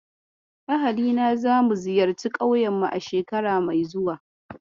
Ahli na zamu ziyarci ƙauyen mu shekara mai zuwa.